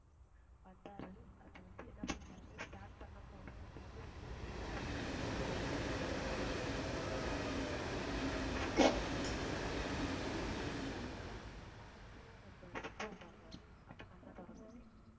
வந்தாரு அது வந்து, என்ன பண்ணாரு start பண்ணும் போதே, அதாவது அந்த இது ஆரம்பிக்கும் போதே கையை பிடிச்சிட்டாரு tight ஆ புடிச்சுட்டாரு அந்த இது correct ஆ தலைகீழா நம்ம சுத்துவோம் பாருங்க. அப்ப கண்ணை திறந்ததுட்டே